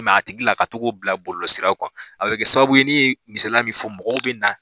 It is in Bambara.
a tigi bila ka togo bila bɔlɔlɔ siraw kan, a bɛ kɛ sababuye ne ye misala min fɔ mɔgɔw bɛ na.